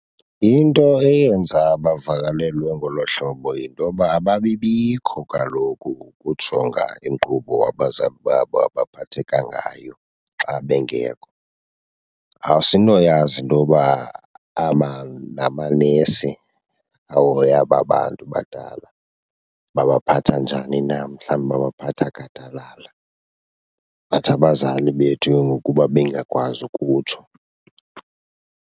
Into eyenza bavakalelwe ngolo hlobo yinto yoba ababibikho kaloku ukujonga inkqubo abazali babo abaphatheka ngayo xa bengekho. Asinoyazi intoba namanesi ahoya aba bantu badala babaphatha njani na, mhlawumbi babaphatha gadalala but abazali bethu ke ngoku uba bengakwazi ukutsho.